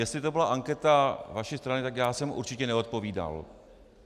Jestli to byla anketa vaší strany, tak já jsem určitě neodpovídal.